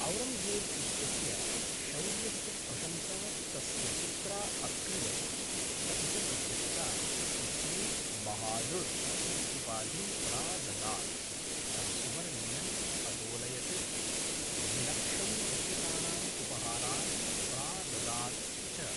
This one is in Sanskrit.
औरङ्गज़ेब् इत्यस्य शौर्यस्य प्रशंसा तस्य पित्रा अक्रियत, अपि च तस्य पिता तस्मै बहादुर् इति उपाधिं प्राददात्, तं सुवर्णेन अतोलयत्, द्विलक्षं रूप्यकाणाम् उपहारान् प्राददात् च।